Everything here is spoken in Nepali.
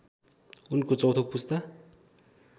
उनको चौथो पुस्ता